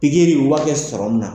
U B'a kɛ sɔrɔmun na.